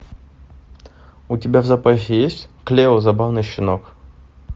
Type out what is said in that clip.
у тебя в запасе есть клео забавный щенок